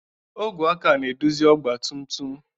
Ogwe aka na-eduzi ọgba tum tum.